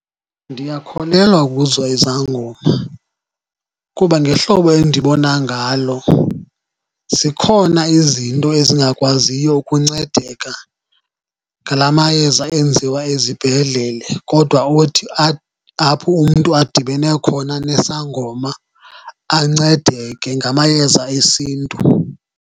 Ndiyakholelwa kuzo izangoma, kuba ngehlobo endibona ngalo zikhona izinto ezingakwaziyo ukuncedeka ngala mayeza enziwa ezibhedlele, kodwa othi apho umntu adibene khona nesangoma ancedeke ngamayeza esiNtu.